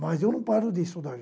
Mas eu não paro de estudar.